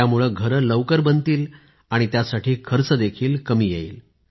त्यामुळे घरे लवकर बनतील आणि त्यासाठी खर्च देखील कमी येईल